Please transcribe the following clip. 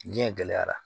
Diɲɛ gɛlɛyara